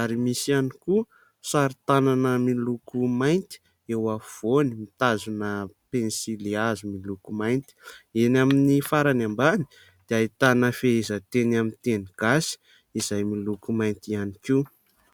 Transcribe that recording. ary misy ihany koa sarin-tanana miloko mainty eo afovoany mitazona pensilihazo miloko mainty, eny amin'ny farany ambany dia ahitana fehezanteny amin'ny teny gasy izay miloko mainty ihany koa.